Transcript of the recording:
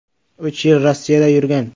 Uch yil Rossiyada yurgan.